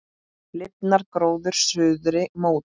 Lifnar gróður suðri mót.